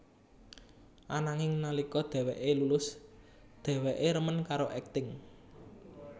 Ananging nalika dheweké lulus dheweké remen karo akting